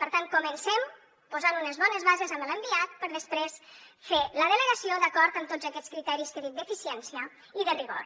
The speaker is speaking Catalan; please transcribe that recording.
per tant comencem posant unes bones bases amb l’enviat per després fer la delegació d’acord amb tots aquests criteris que he dit d’eficiència i de rigor